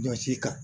Jɔsi kan